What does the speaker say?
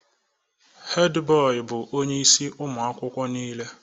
Hedi boị bụ onye ịsị ụmụ akwụkwọ nile